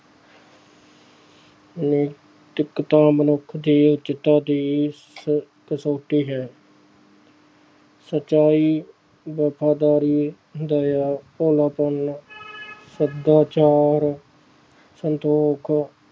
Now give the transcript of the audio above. ਨੈਤਿਕਤਾ ਮਨੁੱਖ ਦੀ ਉੱਚਤਾ ਦੀ ਸ~ ਕਸੌਟੀ ਹੈ ਸਚਾਈ, ਵਫ਼ਾਦਾਰੀ, ਦਇਆ, ਭੋਲਾਪਨ ਸਦਾਚਾਰ, ਸੰਤੋਖ